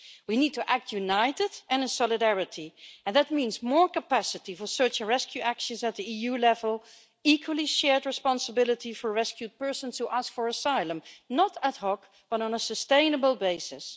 We need to act united and in solidarity and that means more capacity for search and rescue actions at EU level and equally shared responsibility for rescued persons who ask for asylum, not ad hoc but on a sustainable basis.